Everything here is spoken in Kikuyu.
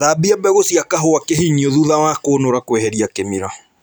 Thambia mbegũ cia kahũa kĩhinyio thutha wa kũnũra kweheria kĩmira